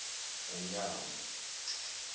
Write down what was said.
umnyango